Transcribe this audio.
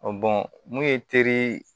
bɔn mun ye teri